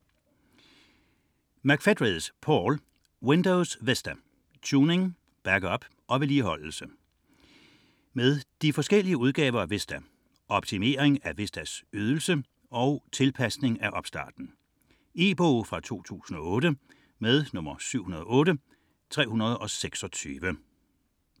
19.672 Windows Vista McFedries, Paul: Windows vista: tuning, backup og vedligeholdelse De forskellige udgaver af Vista, Optimering af Vistas Ydelse, Tilpasning af opstarten. E-bog 708326 2008.